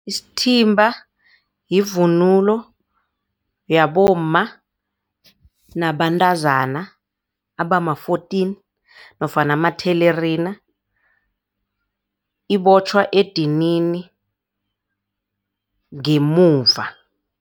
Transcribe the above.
Isithimba yivunulo yabomma nabantazana abama-fourteen nofana amathelerina ibotjhwa edinini ngemuva.